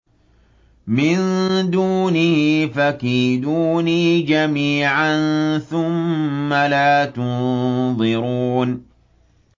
مِن دُونِهِ ۖ فَكِيدُونِي جَمِيعًا ثُمَّ لَا تُنظِرُونِ